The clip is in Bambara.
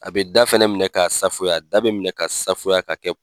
A bɛ da fɛnɛ minɛ ka safuya da bɛ minɛ ka safuya ka kɛ